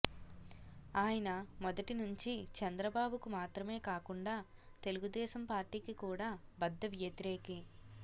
ఆయన మొదటి నుంచీ చంద్రబాబుకు మాత్రమే కాకుండా తెలుగుదేశం పార్టీకి కూడా బద్దవ్యతిరేకి